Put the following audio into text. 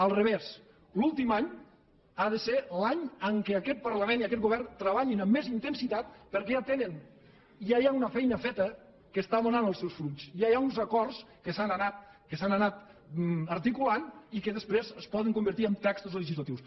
al revés l’últim any ha de ser l’any en què aquest parlament i aquest govern treballin amb més intensitat perquè ja tenen ja hi ha una feina feta que està donant els seus fruits ja hi ha uns acords que s’han anat articulant i que després es poden convertir en textos legislatius